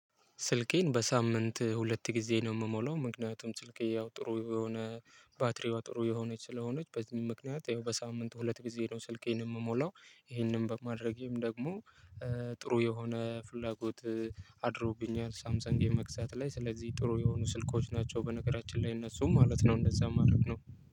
ስልኬን በሳምንት ሁለት ጊዜ ነው የምሞላው ምክንያቱም ስልኬ ያው ጥሩ የሆነ ባትሪዋ ጥሩ የሆነች ስለሆነች በዚህም ምክንያት ይሄው በሳምንቱ ሁለት ጊዜ ነው ስልኬን የምሞላው። ይሄንን በማድረጌም ደግሞ ጥሩ የሆነ ፍላጎት አድሮብኛል። ሳምሰንግ የመግዛት ላይ ስለዚህ ጥሩ የሆኑ ስልኮች ናቸው በነገራችን ላይ እነሱ ማለት ነው እንደዛ ማድረግ ነው።